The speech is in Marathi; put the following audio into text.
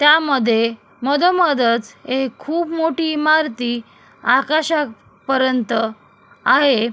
त्या मध्ये मधोमध च एक खूप मोठी इमारती आकाशा पर्यंत आहे.